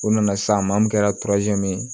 O nana sisan maa mun kɛra min ye